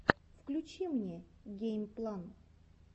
включи мне геймплан